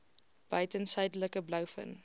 buiten suidelike blouvin